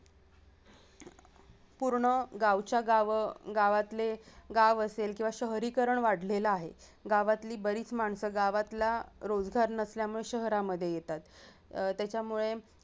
पूर्ण गावच्या गाव गावातले गाव असेल किंवा शहरीकरण वाढलेला आहे गावातली बरीच माणसं गावातला रोजगार नसल्यामुळे शहरामधे येतात अह त्याच्यामुळे